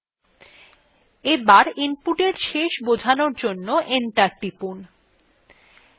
এবার input শেষ বোঝানোর জন্য enter টিপুন